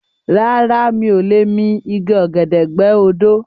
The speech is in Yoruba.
Rárá mi ò lè mi igi ọ̀gẹ̀dẹ̀ gbẹ́ odó